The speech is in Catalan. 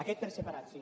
aquest per separat sí